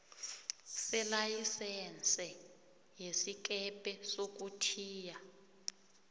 selayisense yesikepe sokuthiya